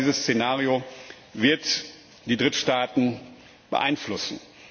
Ich glaube, dieses Szenario wird die Drittstaaten beeinflussen.